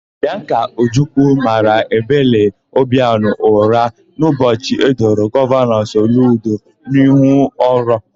Bịanka Ojukwu mara Ebele Obianọ ụra n'ụbọchị edoro Gọvanọ Soludo n'ihu ọrụ.